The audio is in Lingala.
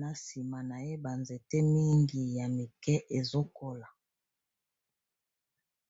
Na nsima na ye, banzete mingi ya mike ezokola.